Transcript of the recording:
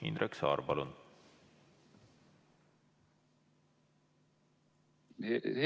Indrek Saar, palun!